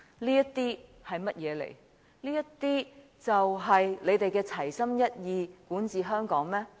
這些就是他們所說的齊心一意管治香港？